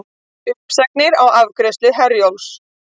Uppsagnir á afgreiðslu Herjólfs